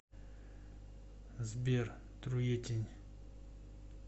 сбер труетень